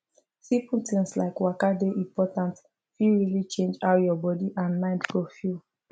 simple things like waka dey important fit really change how your body and mind go feel